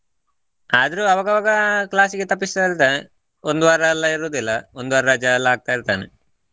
ಆದ್ರು ಅವಾಗ ಅವಾಗ class ಗೆ ತಪ್ಪಿಸ್ತಾ ಇರ್ತಾನೆ ಒಂದು ವಾರ ಎಲ್ಲಾ ಇರುವುದಿಲ್ಲ ಒಂದು ವಾರ ರಜಾ ಎಲ್ಲಾ ಹಾಕತಾ ಇರ್ತಾನೆ.